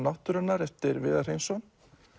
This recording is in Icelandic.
náttúrunnar eftir Viðar Hreinsson